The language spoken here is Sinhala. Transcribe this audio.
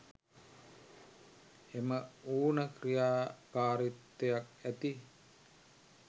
එම ඌන ක්‍රියාකාරීත්වයක් ඇති